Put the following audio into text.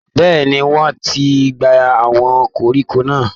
Bẹ́ẹ̀ ni, wọ́ọ́n ti gbé àwọn koríko náà